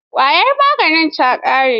Ƙwayar maganin ta ƙare.